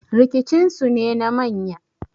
rikicinsu ne na manya